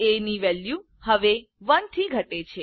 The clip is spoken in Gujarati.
એ ની વેલ્યુ હવે 1 થી ઘટે છે